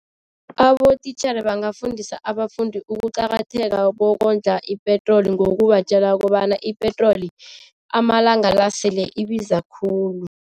Abotitjhere bangafundisa abafundi ukuqakatheka bokondla ipetroli ngokubatjela kobana ipetroli amalanga la sele ibiza khulu.